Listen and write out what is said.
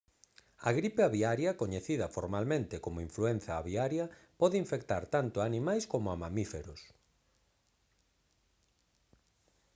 a gripe aviaria coñecida formalmente como influenza aviaria pode infectar tanto a animais coma a mamíferos